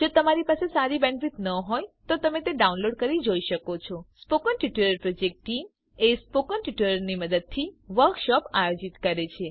જો તમારી પાસે સારી બેન્ડવિડ્થ ન હોય તો તમે ડાઉનલોડ કરી તે જોઈ શકો છો spoken tutorial project team spoken ટ્યુટોરીયલોની મદદથી વર્કશોપ આયોજિત કરે છે